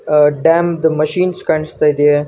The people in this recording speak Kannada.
ಆಹ್ಹ್ ಡ್ಯಾಮ್ ದು ಮಷೀನ್ ಕಾಣಸ್ತಾ ಇದೆ.